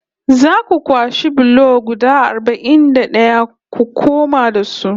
Za ku kwashe bulo guda arba'in da ɗaya ku koma da su